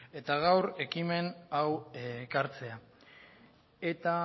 eta gaur ekimen hau ekartzea eta